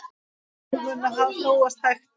Mál munu þróast hægt.